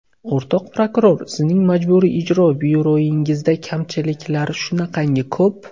O‘rtoq prokuror, sizning Majburiy ijro byurongizda kamchiliklar shunaqangi ko‘p.